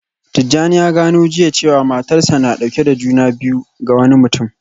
Tijjani ya gano jiya cewa matarsa ​​na dauke da juna biyu ga wani mutum